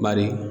Bari